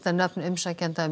nöfn umsækjenda um